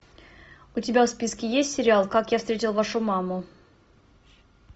у тебя в списке есть сериал как я встретил вашу маму